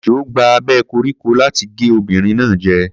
Ejò gba abẹ́ koríko láti gé obìnrin náà jẹ.